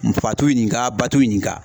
Fa t'u ɲinka ba t'u ɲinka.